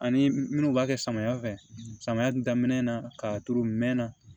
Ani minnu b'a kɛ samiya fɛ samiya dun daminɛ na k'a turu mɛn na